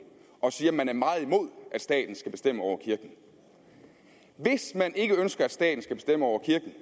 og siger at man er meget imod at staten skal bestemme over kirken hvis man ikke ønsker at staten skal bestemme over kirken